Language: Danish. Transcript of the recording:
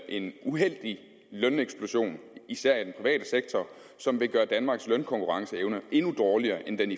en uheldig løneksplosion især i den private sektor som vil gøre danmarks lønkonkurrenceevne endnu dårligere end den